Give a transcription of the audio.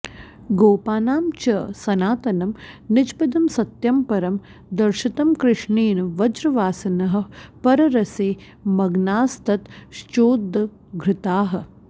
गोपानां च सनातनं निजपदं सत्यं परं दर्शितं कृष्णेन व्रजवासिनः पररसे मग्नास्ततश्चोद्घृताः